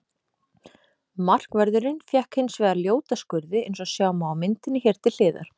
Markvörðurinn fékk hins vegar ljóta skurði eins og sjá má á myndinni hér til hliðar.